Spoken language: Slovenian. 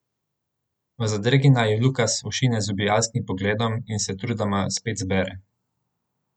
V zadregi naju Lukas ošine z ubijalskim pogledom in se trudoma spet zbere.